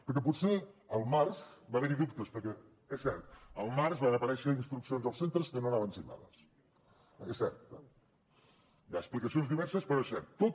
perquè potser al març va haver hi dubtes perquè és cert al març van aparèixer instruccions als centres que no anaven signades és cert hi ha explicacions diverses però és cert